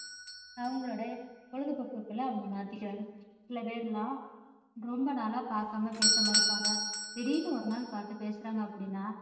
அவங்களோட பொழுதுபோக்குக்களை அவங்க மாத்திக்குறாங்க சிலபேர் எல்லாம் ரொம்ப நாளா பார்க்காம பேசாம இருப்பாங்க திடீர்ன்னு ஒருநாள் பார்த்து பேசுறாங்க அப்படின்னா